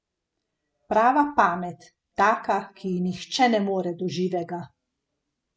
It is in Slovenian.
Prava pamet, taka, ki ji nihče ne more do živega.